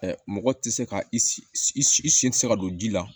Ɛ mɔgɔ tɛ se ka i sen tɛ se ka don ji la